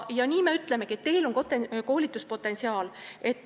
Nii me ütlemegi, et teil on koolituspotentsiaali.